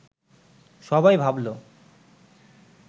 সবাই ভাবল